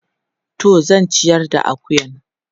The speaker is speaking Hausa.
Toh zan ciyar da akuyan.